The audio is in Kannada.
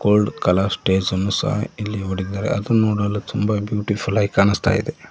ಗೋಲ್ಡ್ ಕಲರ್ ಸ್ಟೇಜ್ ಅನ್ನು ಸಹ ಇಲ್ಲಿ ಹೋಡಿದ್ದಾರೆ ಅದು ನೋಡಲು ತುಂಬಾ ಬ್ಯೂಟಿಫುಲ್ ಆಗಿ ಕಾಣಿಸ್ತಾ ಇದೆ.